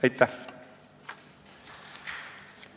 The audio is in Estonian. Aitäh!